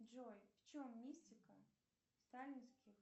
джой в чем мистика сталинских